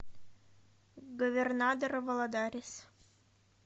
говернадор валадарис